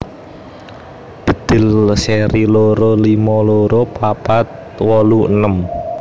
Bedhil seri loro limo loro papat wolu enem